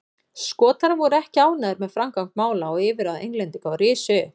Skotar voru ekki ánægðir með framgang mála og yfirráð Englendinga og risu upp.